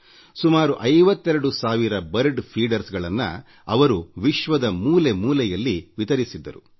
ವಿಶ್ವದ ಮೂಲೆ ಮೂಲೆಯಲ್ಲಿ ಹಕ್ಕಿಗಳಿಗೆ ಕಾಳು ಹಾಕುವ ಸುಮಾರು 52 ಸಾವಿರ ಮಂದಿಗೆ ಇದನ್ನು ವಿತರಿಸಿದ್ದರು